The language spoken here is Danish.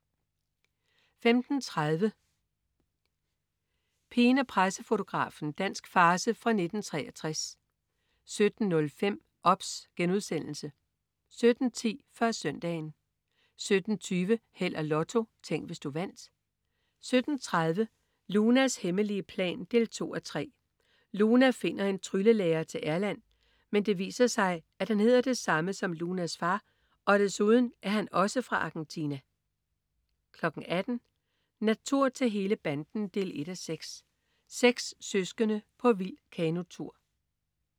15.30 Pigen og pressefotografen. Dansk farce fra 1963 17.05 OBS* 17.10 Før Søndagen 17.20 Held og Lotto. Tænk, hvis du vandt 17.30 Lunas hemmelige plan 2:3. Luna finder en tryllelærer til Erland, men det viser sig, at han hedder det samme som Lunas far, og desuden er han også fra Argentina 18.00 Natur til hele banden 1:6. Seks søskende på vild kanotur